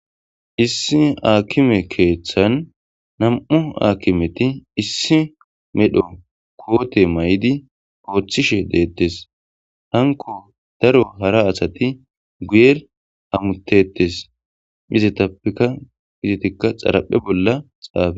issi aakime keeththan nam7u aakimeti issi medho koote may7idi ooththishe deettes hanko daro hara asati guyer amutetes izetappeka izetikka xaraphe bolla xaafe